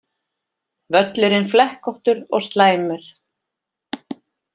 Völlurinn flekkóttur og slæmur